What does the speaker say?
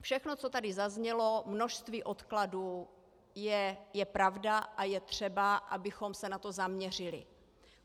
Všechno, co tady zaznělo, množství odkladů, je pravda a je třeba, abychom se na to zaměřili.